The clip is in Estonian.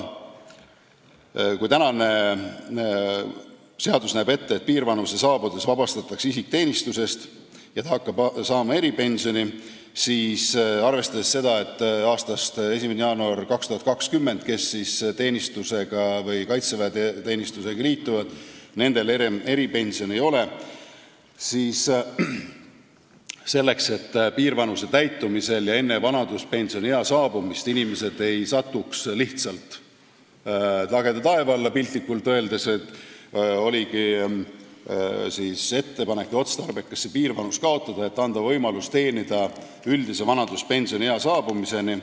Kui praegune seadus näeb ette, et piirvanuse saabudes vabastatakse isik teenistusest ja ta hakkab saama eripensioni, siis arvestades seda, et nendel, kes alates 1. jaanuarist 2020 kaitseväeteenistusega liituvad, eripensioni ei ole, tehtigi selleks, et piirvanuse täitumisel ei jääks inimesed enne vanaduspensioniea saabumist lihtsalt lageda taeva alla, piltlikult öeldes, ettepanek, et otstarbekas oleks piirvanus kaotada ning anda võimalus teenida üldise vanaduspensioniea saabumiseni.